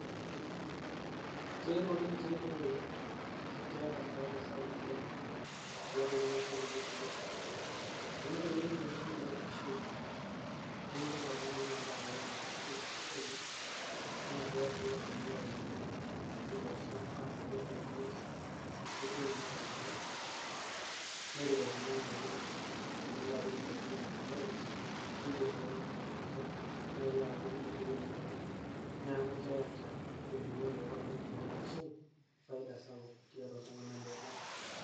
keeta oleng enkiremo keta faida sapuk oleng, tiatua olosho likitii amu teniun ilnyanya ongwashen, nemitoki oltungani alo ayau intokitin tosokoni, naa kiaku ilo ake nilo ainyiangu tilo shamba lotunieki ashu tine weuji netashare, neret oltungani oleng amu ilo atum intokitin aa fresh netu eruyo katukul naa ilo atum tebei nalelek, niaku keeta eunore olnyanya ongwashen faida sapuk tiatua iltungana liatua nkishu.